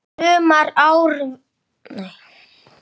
sumar, vetur, ár og daga.